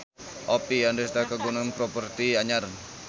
Oppie Andaresta kagungan properti anyar